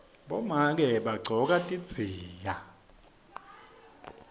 bomake bagcoka tidziya